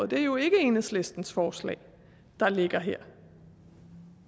det er jo ikke enhedslistens forslag der ligger her